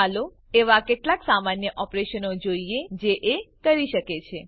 ચાલો એવા કેટલાક સામાન્ય ઓપરેશનો જોઈએ જે એ કરી શકે છે